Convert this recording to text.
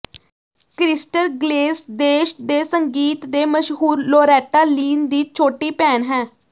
crystal Gayle ਦੇਸ਼ ਦੇ ਸੰਗੀਤ ਦੇ ਮਸ਼ਹੂਰ ਲੋਰੈਟਾ ਲੀਨ ਦੀ ਛੋਟੀ ਭੈਣ ਹੈ